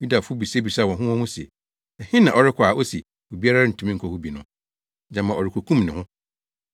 Yudafo no bisabisaa wɔn ho wɔn ho se, “Ɛhe na ɔrekɔ a ose ‘obi rentumi nkɔ hɔ bi no?’ Gyama ɔrekokum ne ho?”